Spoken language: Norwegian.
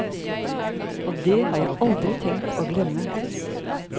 Og det har jeg aldri tenkt å glemme.